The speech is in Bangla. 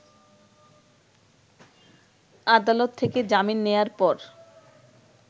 আদালত থেকে জামিন নেয়ার পর